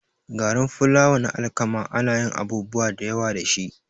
Garin fulawa na alkama anayin abubuwa dayawa dashi